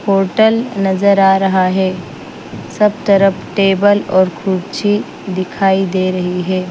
Hotel नजर आ रहा है सब तरफ टेबल और कुर्ची दिखाई दे रही है।